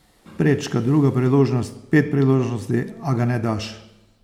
Prečka, druga priložnost, pet priložnosti, a ga ne daš.